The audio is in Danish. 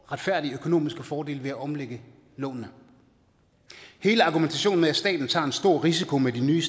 retfærdige økonomiske fordel ved at omlægge lånene hele argumentationen med at staten tager en stor risiko med de nye